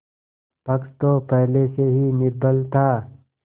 पक्ष तो पहले से ही निर्बल था